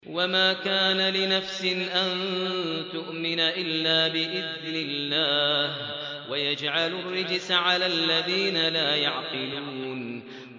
وَمَا كَانَ لِنَفْسٍ أَن تُؤْمِنَ إِلَّا بِإِذْنِ اللَّهِ ۚ وَيَجْعَلُ الرِّجْسَ عَلَى الَّذِينَ لَا يَعْقِلُونَ